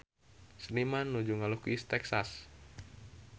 Seniman nuju ngalukis Texas